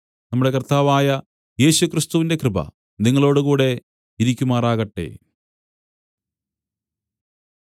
നമ്മുടെ കർത്താവായ യേശുക്രിസ്തുവിന്റെ കൃപ നിങ്ങളോടുകൂടെ ഇരിക്കുമാറാകട്ടെ